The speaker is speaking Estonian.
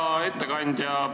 Hea ettekandja!